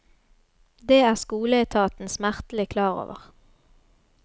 Det er skoleetaten smertelig klar over.